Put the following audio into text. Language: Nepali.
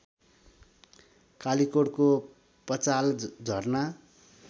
कालीकोटको पचाल झरना